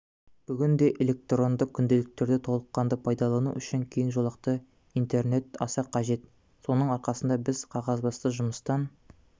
бүгінде электронды күнделіктерді толыққанды пайдалану үшін кең жолақты интернет аса қажет соның арқасында біз қағазбасты жұмыстан